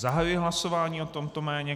Zahajuji hlasování o tomto jméně.